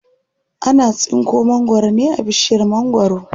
Ana tsinko mangwaro ne a bishiyar mangwaro.